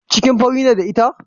Cikin fari ne da ita?